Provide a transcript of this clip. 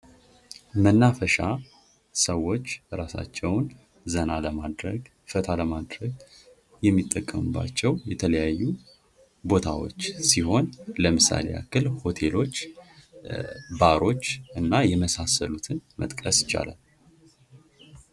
መናፈሻ ሰዎች የራሳቸውን ዘና ለማድረግ ፈታ ለማድረግ የሚጠቀሙባቸው የተለያዩ ቦታዎች ሲሆን ለምሳሌ ያህል እኔ ሆቴሎች ባሮች እና የመሳሰሉትን መጥቀስ ይቻላል::